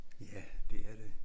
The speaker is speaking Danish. Ja det er det